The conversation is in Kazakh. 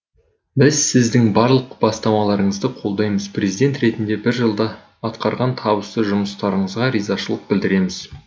біз сіздің барлық бастамаларыңызды қолдаймыз президент ретінде бір жылда атқарған табысты жұмыстарыңызға ризашылық білдіреміз